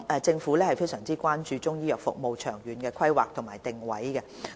政府非常關注中醫藥服務的長遠規劃及定位。